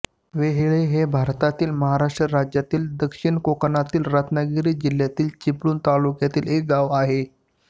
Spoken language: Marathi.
वेहेळे हे भारतातील महाराष्ट्र राज्यातील दक्षिण कोकणातील रत्नागिरी जिल्ह्यातील चिपळूण तालुक्यातील एक गाव आहे